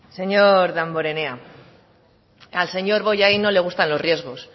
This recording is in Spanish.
señor damborenea al señor bollain no le gustan los riesgos